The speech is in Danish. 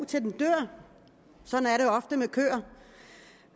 til den dør sådan